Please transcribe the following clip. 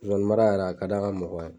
Zonzani mara yɛrɛ a ka d' an ka mɔgɔw ye